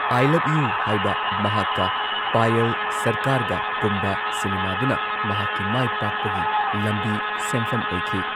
I love you ꯍꯥꯢꯕ ꯃꯍꯥꯛꯀ ꯄꯥꯌꯜ ꯁꯔꯀꯥꯔꯒ ꯀꯨꯝꯕ ꯁꯤꯅꯦꯃꯥꯗꯨꯅ ꯃꯍꯥꯛꯀꯤ ꯃꯥꯢꯄꯥꯛꯄꯒꯤ ꯂꯝꯕꯤ ꯁꯦꯝꯐꯝ ꯑꯣꯏꯈꯤ꯫